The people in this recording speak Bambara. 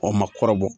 O ma kɔrɔbɔ